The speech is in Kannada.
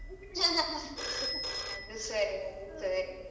ter ಅದು ಸರಿ ಅದು ಸರಿ.